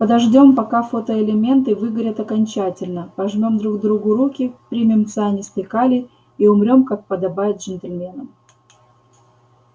подождём пока фотоэлементы выгорят окончательно пожмём друг другу руки примем цианистый калий и умрём как подобает джентльменам